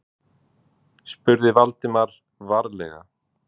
spurði Valdimar varlega.